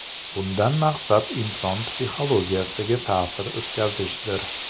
Bundan maqsad inson psixologiyasiga ta’sir o‘tkazishdir.